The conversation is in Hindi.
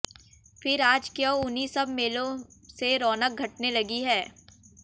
फिर आज क्यों उन्हीं सब मेलों से रौनक घटने लगी है